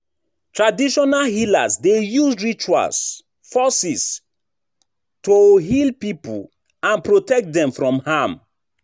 Traditional healers dey use rituals forces to heal people and protect dem from harm.